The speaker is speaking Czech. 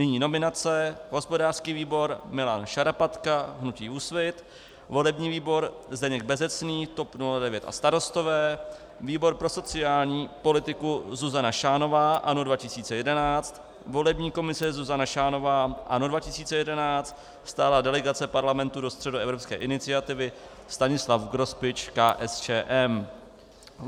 Nyní nominace: hospodářský výbor Milan Šarapatka - hnutí Úsvit, volební výbor Zdeněk Bezecný - TOP 09 a Starostové, výbor pro sociální politiku Zuzana Šánová - ANO 2011, volební komise Zuzana Šánová - ANO 2011, stálá delegace Parlamentu do Středoevropské iniciativy Stanislav Grospič - KSČM.